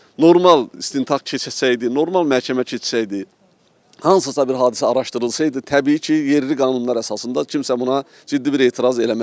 Normal istintaq keçsəydi, normal məhkəmə keçsəydi, hansısa bir hadisə araşdırılsaydı təbii ki, yerli qanunlar əsasında kimsə buna ciddi bir etiraz eləməzdi.